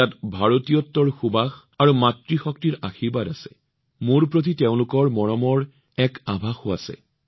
এই উপহাৰত ভাৰতীয়ত্বৰ সুবাস আৰু মাতৃশক্তিৰ আশীৰ্বাদ আছে মোৰ ওপৰত তেওঁলোকৰ মৰমৰ এক আভাসো আছে